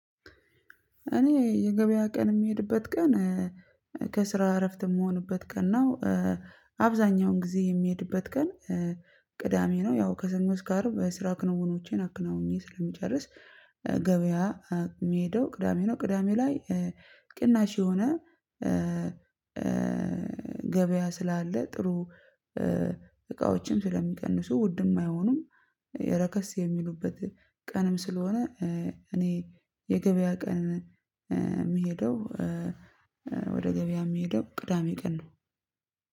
እኔ የገበያ ቀን እምሄድበት ቀን ከስራ እረፍት እምሆንበት ቀን ነው። አብዛኛውን ግዜ የሚሄድበት ቀን ቅዳሜ ነው። ያው ከሰኞ እስከ አርብ በስራ ክንውኖቼን አክነውኜ ስለምጨርስ ገበያ ሚሄደው ቅዳሜ ነው። ቅዳሜ ላይ ቅናሽ የሆነ ገበያ ስላለ ጥሩ እቃዎችን ስለሚቀንሱ ውድም አይሆኑም። ረከስ የሚሉበት ቀንም ስለሆነ። እኔ የገበያ ቀን እሚሄደው ወደ ገበያ ሚሄደው ቅዳሜ ቀን ነው።